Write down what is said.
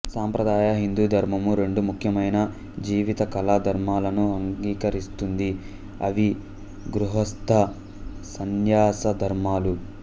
సంప్రదాయ హిందూధర్మము రెండు ముఖ్యమైన జీవిత కాల ధర్మాలను అంగీకరిస్తుంది అవి గృహస్థ సన్యాస ధర్మాలు